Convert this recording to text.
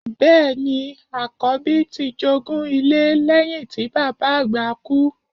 Bẹ́ẹ̀ ni, àkọ̀bí ti jogún ilé lẹ́yìn tí bàbá àgbà kú.